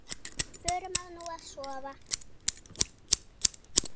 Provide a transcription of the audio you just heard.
Förum nú að sofa.